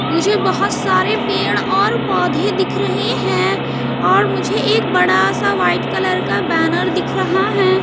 मुझे बहोत सारे पेड़ और पौधे दिख रहे हैं और मुझे एक बड़ा सा व्हाइट कलर का बैनर दिख रहा है।